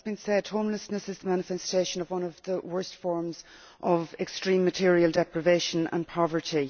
As has been said, homelessness is the manifestation of one of the worst forms of extreme material deprivation and poverty.